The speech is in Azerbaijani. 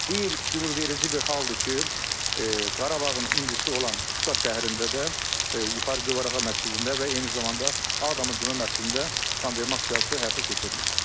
Bu il qürurverici bir haldır ki, Qarabağın incisi olan Şuşa şəhərində də Yuxarı Gövhərağa məscidində və eyni zamanda Ağdamın Cümə məscidində qanvermə aksiyası həyata keçirilir.